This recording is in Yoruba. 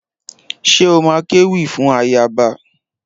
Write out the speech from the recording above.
Ṣé o má kéwì fún ayaba?